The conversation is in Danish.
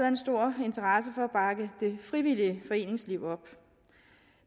en stor interesse for at bakke det frivillige foreningsliv op